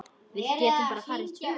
Við getum bara farið tvö.